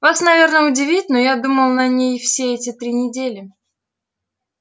вас наверное удивит но я думал над ней все эти три недели